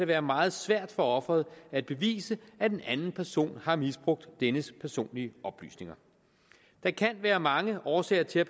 være meget svært for offeret at bevise at en anden person har misbrugt dennes personlige oplysninger der kan være mange årsager til at